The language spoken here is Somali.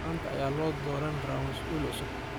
Manta aya ladoranirawa massul cusub.